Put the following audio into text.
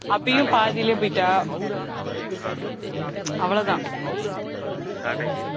அபியும் பாதியிலேயே போயிட்டா அவ்வளவுதான்